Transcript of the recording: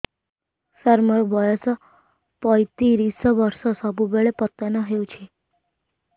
ସାର ମୋର ବୟସ ପୈତିରିଶ ବର୍ଷ ସବୁବେଳେ ପତନ ହେଉଛି